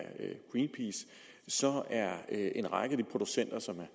greenpeace så er en række af de producenter som er